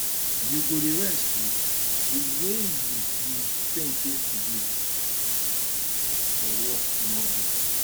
you go dey rest oo the way you you faint yesterday for work no good